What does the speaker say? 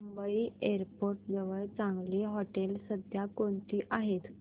Mumbai airport जवळ चांगली हॉटेलं सध्या कोणती आहेत